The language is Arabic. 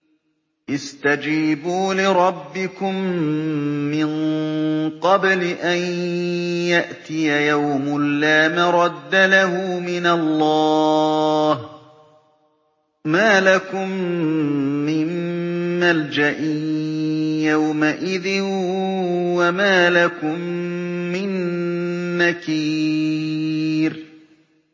اسْتَجِيبُوا لِرَبِّكُم مِّن قَبْلِ أَن يَأْتِيَ يَوْمٌ لَّا مَرَدَّ لَهُ مِنَ اللَّهِ ۚ مَا لَكُم مِّن مَّلْجَإٍ يَوْمَئِذٍ وَمَا لَكُم مِّن نَّكِيرٍ